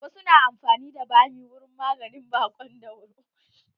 Wasu na amfani da bami wurin maganin baƙon dauro.